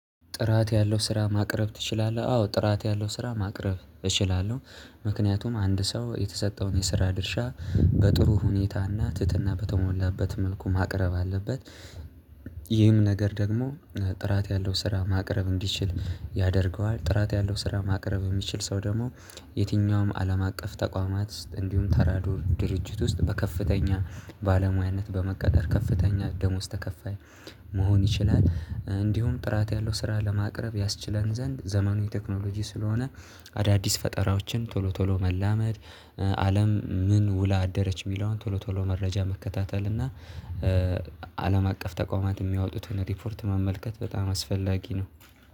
ጥራት ያለው ስራ ማቅረብ ትችላለህ? አዎ ጥራት ያለው ስራ ማቅረብ እችላለሁ። ምክንያቱም አንድ ሰው የተሰጠውን የስራ ድርሻ በጥሩ ሁኔታና ትህትና በተሞላበት መልኩ ማቅረብ አለበት። ይህም ነገር ደግሞ ጥራት ያለው ስራ ማቅረብ እንዲችል ያደርገዋል። ጥራት ያለው ስራ ማቅረብ የሚችል ሰው ደግሞ የትኛውም አለም አቀፍ ተቋማት እንዲሁም ተራዶ ድርጅት ውስጥ በከፍተኛ ባለሙያነት በመቀጠር ከፍተኛ ደሞዝ ተከፋይ መሆን ይችላል። እንዲሁም ጥራት ያለው ስራ ለማቅረብ ያስችለን ዘንድ ዘመኑን ቴክኖሎጂ ስለሆነ አዳዲስ ፈጠራዎችን ቶሎ ቶሎ መላመድ። አለም ምን ውላ አደረች የሚለውን ቶሎ ቶሎ መረጃ መከታተል እና። አለም አቀፍ ተቋማት የሚያወጡትን ሪፖርት ማመልከት በጣም አስፈላጊ ነው